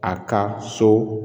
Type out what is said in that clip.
A ka so